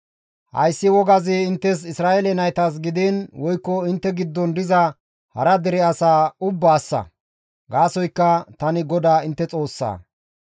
Hayssi wogazi inttes Isra7eele naytas gidiin woykko intte giddon diza hara dere asaa ubbaassa; gaasoykka tani GODAA intte Xoossaa.»